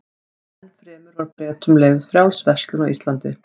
Enn fremur var Bretum leyfð frjáls verslun á Íslandi.